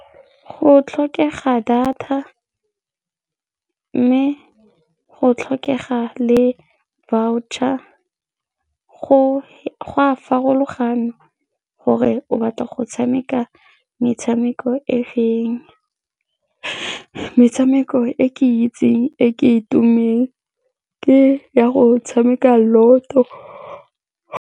Go tlhokega data mme go tlhokega le voucher go a farologana gore o batla go tshameka metshameko e feng, metshameko e ke itseng e e tumileng ke ya go tshameka lotto.